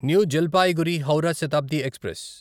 new Jalpaiguri Howrah Shatabdi express